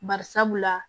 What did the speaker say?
Bari sabula